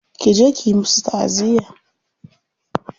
Ki je kiyi musu ta'aziyya.